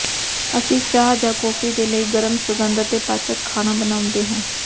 ਅਸੀਂ ਚਾਹ ਜਾਂ ਕੌਫੀ ਦੇ ਲਈ ਗਰਮ ਸੁਗੰਧ ਅਤੇ ਪਾਚਕ ਖਾਣਾ ਬਣਾਉਂਦੇ ਹਾਂ